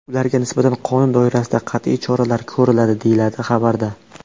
Ularga nisbatan qonun doirasida qat’iy choralar ko‘riladi” , deyiladi xabarda.